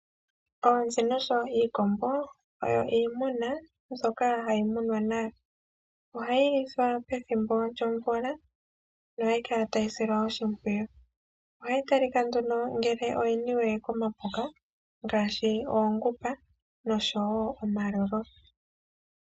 Oonzi noshowo iikombo oyo iimuna hayi munwa nawa, ohayi lithwa pethimbo lyomvula nohayi kala tayi silwa oshimpwiyu, ohayi talika ngele oyiniwe komapuka ngaashi oongupa noshowo omalolo.